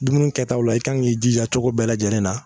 Dumuni kɛtaw la i kan k'i jija cogo bɛɛ lajɛlen na